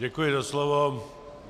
Děkuji za slovo.